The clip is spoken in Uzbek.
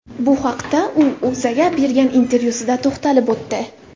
Bu haqda u O‘zAga bergan intervyuda to‘xtalib o‘tdi .